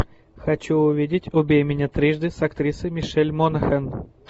хочу увидеть убей меня трижды с актрисой мишель монахэн